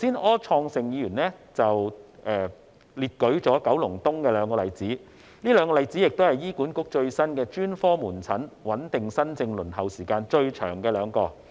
柯創盛議員剛才舉了九龍東的兩個例子，這兩個例子亦是醫院管理局最新的專科門診穩定新症輪候時間最長的兩宗個案。